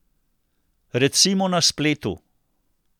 Recimo na spletu.